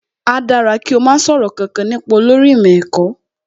Áá dára kí o má sọ̀rọ̀ kankan nípa olórí ìmọ̀ ẹ̀kọ́